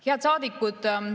Head saadikud!